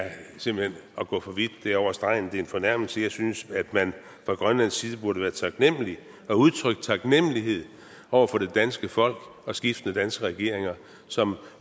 at gå for vidt det er over stregen det er en fornærmelse jeg synes at man fra grønlands side burde være taknemlig og udtrykke taknemlighed over for det danske folk og skiftende danske regeringer som